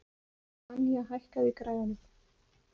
Anja, hækkaðu í græjunum.